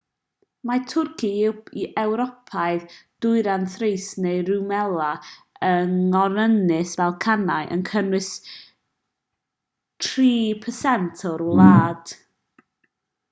mae twrci ewropeaidd dwyrain thrace neu rumelia yng ngorynys y balcanau yn cynnwys 3% o'r wlad